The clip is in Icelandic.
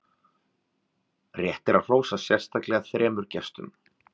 rétt er að hrósa sérstaklega þremur gestum